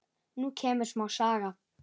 Nú kemur smá saga.